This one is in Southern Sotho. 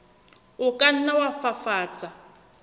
o ka nna wa fafatsa